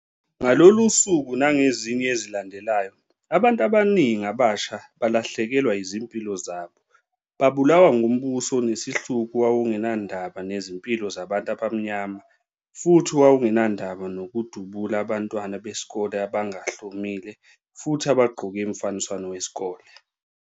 Ngalolo suku nangezinye ezilandelayo, abantu abaningi abasha balahlekelwa izimpilo zabo. Babulawa ngumbuso onesihluku owawungenandaba nezimpilo zabantu abamnyama futhi owawungenandaba nokudubula abantwana besikole abangahlomile futhi abagqoke umfaniswano wesikole.